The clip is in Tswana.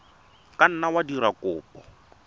ka nna wa dira kopo